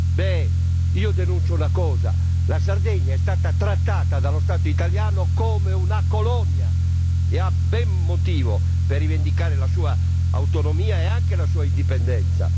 Ci tengo a denunciare un fatto la Sardegna è stata trattata dallo Stato italiano come una colonia e ha ben motivo per rivendicare la sua autonomia e la sua indipendenza.